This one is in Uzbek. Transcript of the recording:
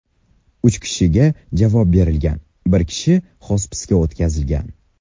Uch kishiga javob berilgan, bir kishi xospisga o‘tkazilgan.